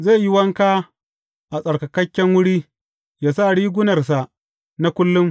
Zai yi wanka a tsattsarkan wuri yă sa rigunarsa na kullum.